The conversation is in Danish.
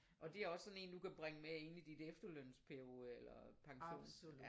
Og det er også sådan en du kan bringe med ind i dit efterlønsperiode eller pension